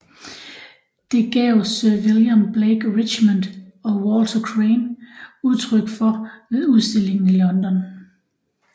Det gav sir William Blake Richmond og Walter Crane udtryk for ved udstillingen i London